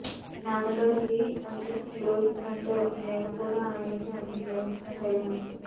నాన్నగారికి ఎంత క్లోజ్ ఫ్రెండో నేనుకూడా ఆయనకి అంత క్లోజ్ ఫ్రెండ్ అయ్యాను